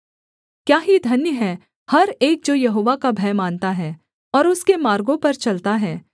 क्या ही धन्य है हर एक जो यहोवा का भय मानता है और उसके मार्गों पर चलता है